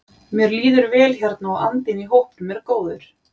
Mér líður vel hérna og andinn í hópnum er góður.